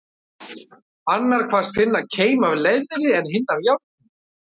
Annar kvaðst finna keim af leðri, en hinn af járni.